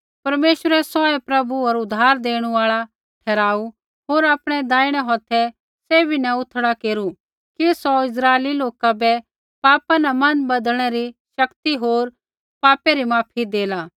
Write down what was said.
परमेश्वरै सौहै प्रभु होर उद्धार देणु आल़ा ठहराऊ होर आपणै दैहिणै हौथै सैभी न उथड़ा केरू कि सौ इस्राइली लोका बै पापा न मन बदलनै री शक्ति होर पापै री माफी देला